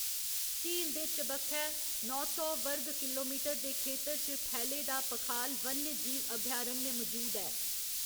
झील दे चबक्खै नौ सौ वर्ग किलोमीटर दे खेतर च फैले दा पखाल वन्यजीव अभयारण्य मजूद ऐ।